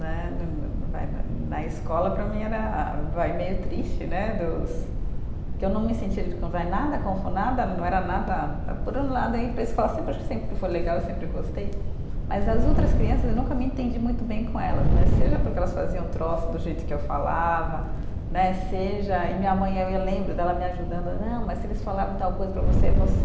Né né, vai na na escola, para mim, era vai, meio triste né, dos que eu não me sentia nada confo, nada, não era nada. Por um lado aí, penso que ela sempre acho que sempre foi legal, eu sempre gostei, mas as outras crianças, eu nunca me entendi muito bem com elas né, seja porque elas faziam troça do jeito que eu falava né, seja. E minha mãe, eh eu lembro dela me ajudando, não, mas se eles falaram tal coisa para você, você